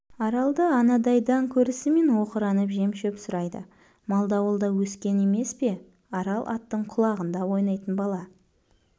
аралды анадайдан көрісімен оқыранып жем-шөп сұрайды малды ауылда өскен емес пе арал аттың құлағында ойнайтын бала